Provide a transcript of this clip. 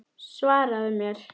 Svaraðu mér!